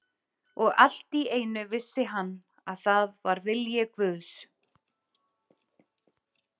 Og allt í einu vissi hann að það var vilji Guðs.